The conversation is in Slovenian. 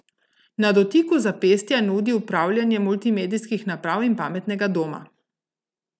Na dotiku zapestja nudi upravljanje multimedijskih naprav in pametnega doma.